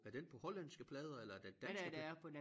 Er den på hollandske plader eller er den danske